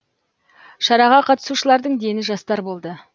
шараға қатысушылардың дені жастар болды